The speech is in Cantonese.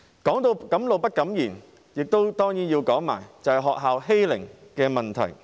提到敢怒不敢言，當然也要說說學校的欺凌問題。